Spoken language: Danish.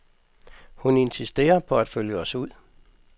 Hun insisterer på at følge os ud.